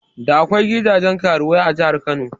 Da akwai gidajen karuwai a jahar Kano